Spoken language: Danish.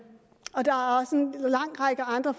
lang række andre